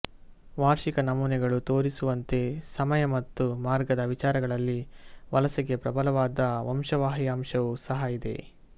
ವಾರ್ಷಿಕ ನಮೂನೆಗಳು ತೋರಿಸುವಂತೆ ಸಮಯ ಮತ್ತು ಮಾರ್ಗದ ವಿಚಾರಗಳಲ್ಲಿ ವಲಸೆಗೆ ಪ್ರಬಲವಾದ ವಂಶವಾಹಿ ಅಂಶವೂ ಸಹ ಇದೆ